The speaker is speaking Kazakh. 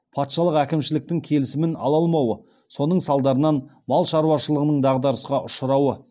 патшалык әкімшіліктің келісімін ала алмауы соның салдарынан мал шаруашылығының дағдарысқа ұшырауы